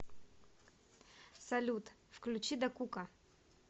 салют включи дакука